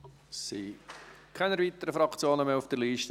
Es sind keine weiteren Fraktionen mehr auf der Liste.